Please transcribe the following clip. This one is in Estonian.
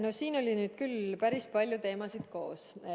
No siin oli nüüd küll päris palju teemasid koos.